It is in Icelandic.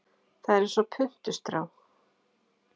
Það er eins og puntstrá.